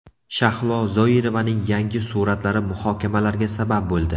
Shahlo Zoirovaning yangi suratlari muhokamalarga sabab bo‘ldi.